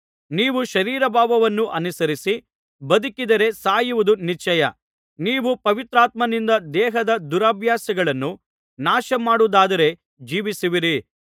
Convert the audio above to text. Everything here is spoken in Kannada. ನೀವು ಶರೀರಭಾವವನ್ನು ಅನುಸರಿಸಿ ಬದುಕಿದರೆ ಸಾಯುವುದು ನಿಶ್ಚಯ ನೀವು ಪವಿತ್ರಾತ್ಮನಿಂದ ದೇಹದ ದುರಭ್ಯಾಸಗಳನ್ನು ನಾಶ ಮಾಡುವುದಾದರೆ ಜೀವಿಸುವಿರಿ